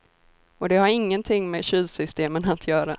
Och det har ingenting med kylsystemen att göra.